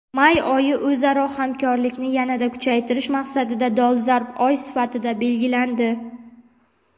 May oyi o‘zaro hamkorlikni yanada kuchaytirish maqsadida dolzarb oy sifatida belgilandi.